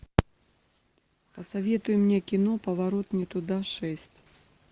посоветуй мне кино поворот не туда шесть